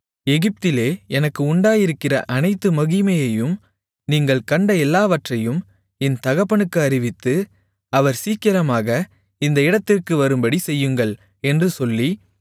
எகிப்திலே எனக்கு உண்டாயிருக்கிற அனைத்து மகிமையையும் நீங்கள் கண்ட எல்லாவற்றையும் என் தகப்பனுக்கு அறிவித்து அவர் சீக்கிரமாக இந்த இடத்திற்கு வரும்படிச் செய்யுங்கள் என்று சொல்லி